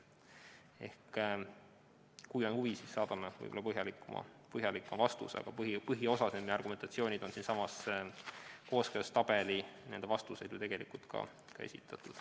Ehk kui on huvi, siis saadame põhjalikuma vastuse, aga põhiosas on nende argumentatsioon ja vastused ju tegelikult ka siinsamas kooskõlastustabelis esitatud.